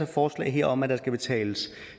forslaget her om at der skal betales